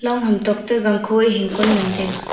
ham tok to gangkho ei hingkon e ngan taga.